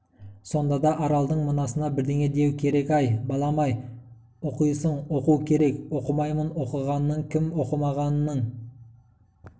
сонда да аралдың мынасына бірдеңе деу керек әй балам-ай оқисың оқу керек оқымаймын оқығанның кім оқымағанның